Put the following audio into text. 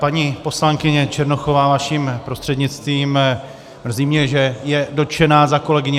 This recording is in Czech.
Paní poslankyně Černochová, vaším prostřednictvím, mrzí mě, že je dotčená za kolegyni.